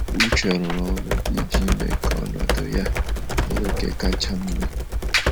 Uche rụrụ ọrụ iji mee ka ọnọdụ ya bụrụ nke kacha mma.